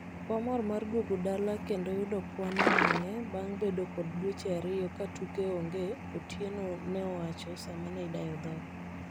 wamor mar duogo dala kendo yudo kendo yudo kwan ewange bang bedo kod dweche ariyo katuke onge otieno ne owacho sama ne idayo dhoge